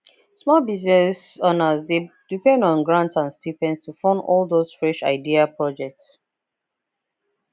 small biz owners dey depend on grants and stipends to fund all those fresh idea projects